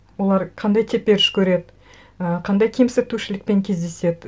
олар қандай теперіш көреді і қандай кемсітушілікпен кездеседі